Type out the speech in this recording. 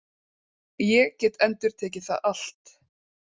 Ég get endurtekið það allt.